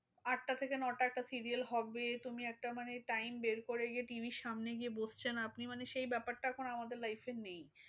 আটটা থেকে নটা একটা serial হবে। তুমি একটা মানে time বের করে গিয়ে TV র সামনে বসছেন। আপনি মানে সেই ব্যাপারটা এখন আমাদের life এ নেই।